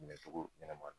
Minɛ cogo ɲɛnama na